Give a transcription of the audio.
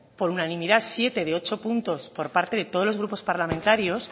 por unanimidad siete de ocho puntos por parte de todos los grupos parlamentarios